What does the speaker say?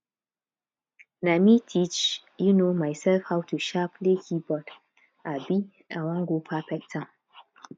na me teach um mysef how to um play keyboard um i wan go perfect am